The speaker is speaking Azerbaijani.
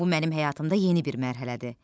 Bu mənim həyatımda yeni bir mərhələdir.